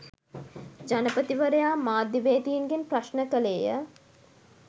ජනපතිවරයා මාධ්‍යවේදීන්ගෙන් ප්‍රශ්න කළේය